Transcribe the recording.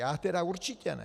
Já tedy určitě ne.